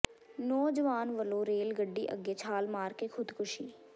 ਨੌਜਵਾਨ ਵੱਲੋਂ ਰੇਲ ਗੱਡੀ ਅੱਗੇ ਛਾਲ ਮਾਰ ਕੇ ਖੁਦਕੁਸ਼ੀ